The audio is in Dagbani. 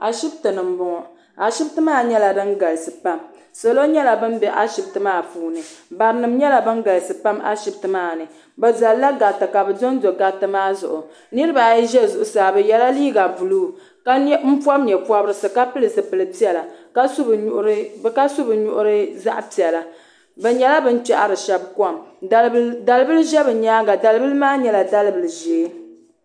Ashiptini m boŋɔ ashiptini maa nyɛla din galisi pam salo. nyɛla ban be ashipti maa puuni barinima nyɛla ban galisi pam ashipti maani bɛ zalila gariti ka bɛ dondo gariti maa zuɣu niriba ayi ʒɛ zuɣusaa ba yela liiga buluu ka pobi nyɛpobrisi ka pili zipil'piɛla ka su bɛ nuhi zaɣa piɛla bɛ nyɛla bini kpehiri sheba kom dalibila ʒɛ bɛ nyaanga dalibila maa nyɛla dalibila ʒee.